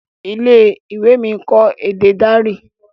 ilé-ìwé mí nkọ èdè Dari.